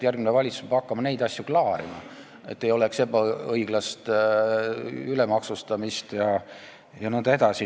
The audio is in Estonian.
Järgmine valitsus peab hakkama neid asju klaarima, et ei oleks ebaõiglast ülemaksustamist jne.